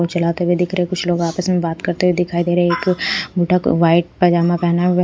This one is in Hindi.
चलाते हुए दिख रहे हैं कुछ लोग आपस में बात करते हुए दिखाई दे रहे हैं एक बुढा वाइट पजामा पहना हुआ है।